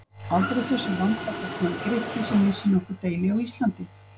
Aldrei þessu vant var þar kominn Grikki sem vissi nokkur deili á Íslandi!